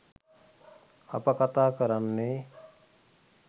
අප කතා කරන්නේ